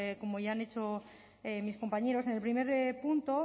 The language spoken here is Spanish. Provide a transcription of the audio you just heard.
como ya han hecho mis compañeros en el primer punto